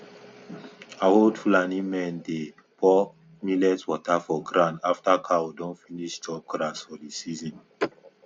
old fulani men dey pour millet water for ground after cow don finish chop grass for di season